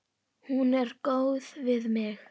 Hún er góð við mig.